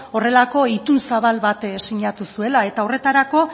horrelako itun zabal bat sinatu zuela eta horretarako